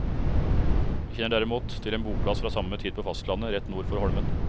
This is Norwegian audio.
Vi kjenner derimot til en boplass fra samme tid på fastlandet rett nord for holmen.